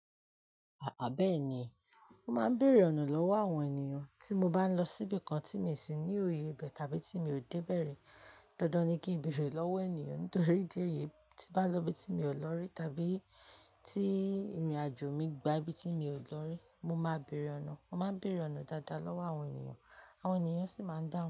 Àá bẹ́ẹ̀ ni, mo máa ń bèèrè ọ̀nà lọ́wọ́ àwọn ènìyàn tí mo bá ń lọ síbi kan tí mi ò sì ní òye bẹ́ẹ̀ tàbí tí mi ò dé bẹ̀ rẹ̀. Dandan ni kí n bèèrè lọ́wọ́ ènìyàn nítorí tí bá lọ ibi tí mi ò lọ rí tàbí tí ìrìnàjò mi gba ibi tí mi ò lọ rí, mo máa bèèrè ọ̀nà. Mo máa ń bèèrè ọ̀nà dáadáa lọ́wọ́ àwọn ènìyàn, àwọn ènìyàn sì máa ń dáhùn.